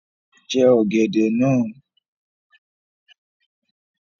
Jẹ ọ̀gẹ̀dẹ̀ náà